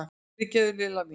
Fyrirgefðu, Lilla mín!